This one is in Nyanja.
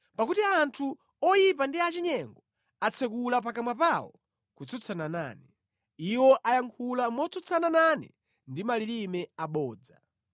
pakuti anthu oyipa ndi achinyengo atsekula pakamwa pawo kutsutsana nane; iwo ayankhula motsutsana nane ndi malilime abodza.